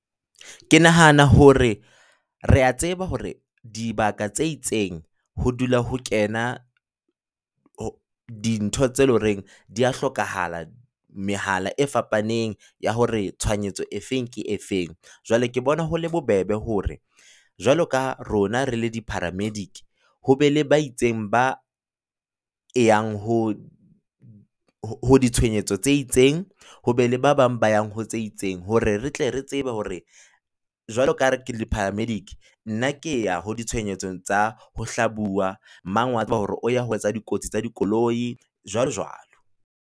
Ke nahana hore rea tseba hore dibaka tse itseng, ho dula ho kena ho dintho tse le ho reng di ya hlokahala. Mehala e fapaneng ya hore tshohanyetso e feng ke e feng, jwale ke bona ho le bobebe hore jwalo ka rona re le di paramedic, ho be le ba itseng, ba e yang ho ditshohanyetso tse itseng, ho be le ba bang ba yang ho tse itseng. Hore re tle re tsebe hore jwalo ka re ke le nna ke ya ho ditshohanyetsong tsa ho hlabuwa, mang wa hore o ya ho tsa dikotsi tsa dikoloi, jwalo jwalo.